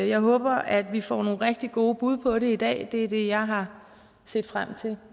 jeg håber at vi får nogle rigtig gode bud på det i dag det er det jeg har set frem til